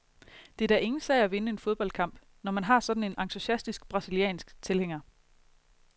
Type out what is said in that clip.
Det er da ingen sag at vinde en fodboldkamp, når man har sådan en entusiastisk brasiliansk tilhænger.